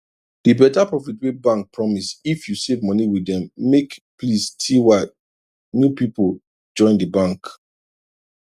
the better profit wey bank promise if you save money with dem make pls ty new people join the bank